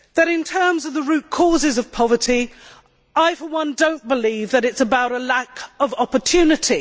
In terms of the root causes of poverty, I for one do not believe that it is about a lack of opportunity.